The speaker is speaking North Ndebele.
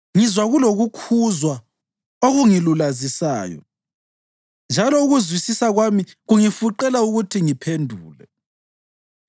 Ngizwa kulokukhuzwa okungilulazisayo njalo ukuzwisisa kwami kungifuqela ukuthi ngiphendule.